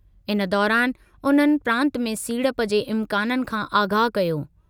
इन दौरानि उन्हनि प्रांत में सीड़प जे इम्काननि खां आगाह कयो।